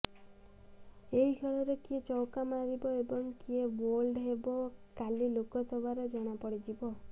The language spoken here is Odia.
ଏହି ଖେଳରେ କିଏ ଚୌକା ମାରିବ ଏବଂ କିଏ ବୋଲ୍ଡ ହେବ କାଲି ଲୋକସଭାରେ ଜଣା ପଡ଼ିଯିବ